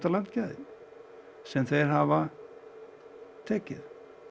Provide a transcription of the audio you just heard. landgæðin sem þeir hafa tekið